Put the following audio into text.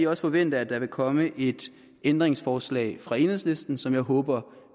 også forvente at der vil komme et ændringsforslag fra enhedslisten som jeg håber